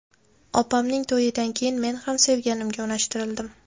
Opamning to‘yidan keyin men ham sevganimga unashtirildim.